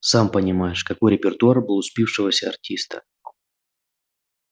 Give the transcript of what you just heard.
сам понимаешь какой репертуар был у спившегося артиста